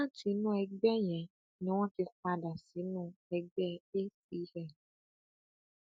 láti inú ẹgbẹ yẹn ni wọn ti padà sínú ẹgbẹ acn